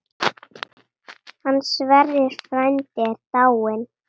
Hann Sverrir frændi er dáinn.